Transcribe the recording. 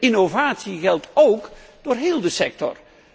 Innovatie geldt ook voor heel de sector.